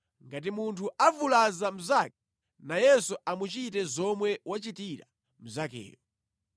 Ngati munthu avulaza mnzake, nayenso amuchite zomwe wachitira mnzakeyo: